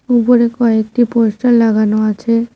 উপরে কয়েকটি পোস্টার লাগানো আছে।